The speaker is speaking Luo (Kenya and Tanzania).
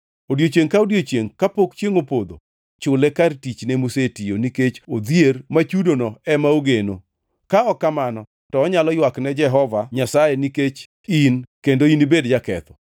Odiechiengʼ ka odiechiengʼ kapok chiengʼ opodho chule kar tichne mosetiyo, nikech odhier ma chudono ema ogeno, ka ok kamano to onyalo ywak ne Jehova Nyasaye nikech in kendo inibed jaketho.